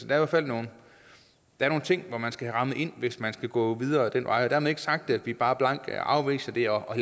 hvert fald nogle ting som man skal have rammet ind hvis man skal gå videre ad den vej dermed er ikke sagt at vi bare blankt afviser det og